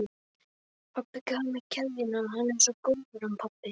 Pabbi gaf mér keðjuna, hann er svo góður, hann pabbi.